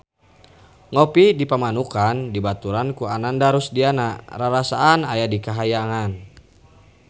Ngopi di Pamanukan dibaturan ku Ananda Rusdiana rarasaan aya di kahyangan